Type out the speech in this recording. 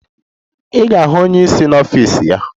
Ị ga-ahụ onye isi n'ọfịs ya.